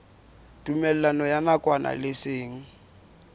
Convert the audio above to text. tumellano ya nakwana le seng